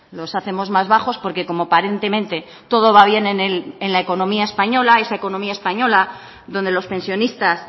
los hacemos más bajos porque como aparentemente todo va bien en la economía española esa economía española donde los pensionistas